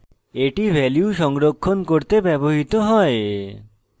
এটি value সংরক্ষণ করতে ব্যবহৃত হয়